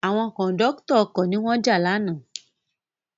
Àwọn Kòńdọ́tọ̀ ọkọ̀ ni wọ́n jà lánàá